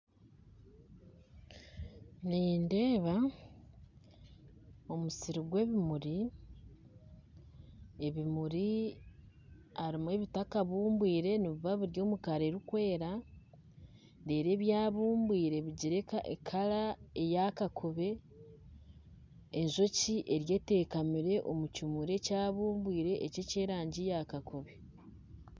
Nindeeba omusiri gw'ebimuri ebimuri harimu ebitakabumbwire nibiba biri omu kara erikwera reero ebyabumbwire biri omu kara eya kakoobe ,enjoki eriyo etekamire omu kimuri ekyabumbwire eky''erangi eya kakobe